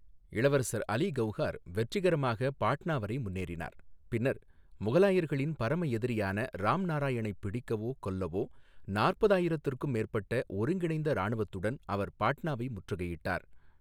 இளவரசர் அலி கவுஹார் வெற்றிகரமாக பாட்னா வரை முன்னேறினார், பின்னர் முகலாயர்களின் பரம எதிரியான ராம்நாராயணைப் பிடிக்கவோ கொல்லவோ, நாற்பது ஆயிரத்துக்கும் மேற்பட்ட ஒருங்கிணைந்த இராணுவத்துடன் அவர் பாட்னாவை முற்றுகையிட்டார்.